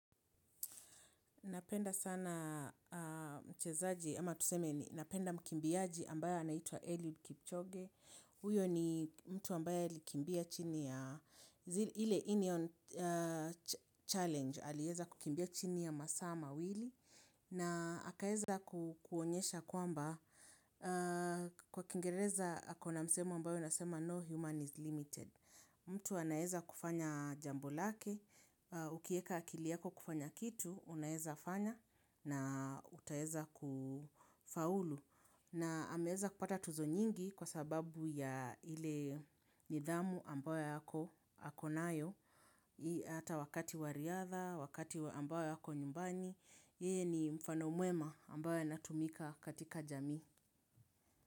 Napenda sana mchezaji ama tuseme ni napenda mkimbiaji ambaye anaitua Eliud Kipchoge. Huyo ni mtu ambayo likimbia chini ya ile union challenge. Aliweza kukimbia chini ya masaa mawili na akaweza kuonesha kwamba kwa kingereza kuna msemo unasema yakwamba "No human is limited." Mtu anaweza kufanya jambo lake, ukieka akili yako kufanya kitu, unaeza fanya na utaweza utaweza kufaulu. Na ameweza kupata tuzo nyingi kwa sababu ya ile nidhamu ambayo ako nayo, ata wakati wa riadha, wakati ambayo ako nyumba yeye ni mfano mwema ambayo anatumika katika jamii.